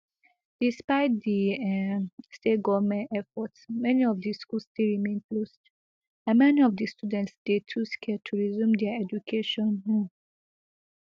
despite di um state goment efforts many of di schools still remain closed and many of di students dey too scared to resume dia education um